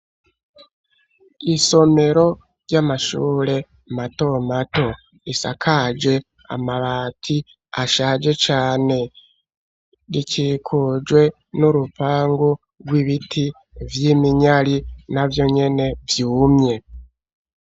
Isomero, ry'amashure mato mato; risakaje amabati, ashaje cane; rikikujwe n'urupangu rw'ibiti vy'iminyari, na vyo nyene vyumye.